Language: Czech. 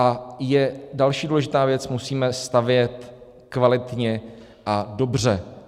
A je další důležitá věc - musíme stavět kvalitně a dobře.